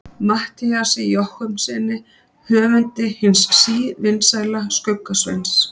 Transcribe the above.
Matthíasi Jochumssyni höfundi hins sívinsæla Skugga-Sveins.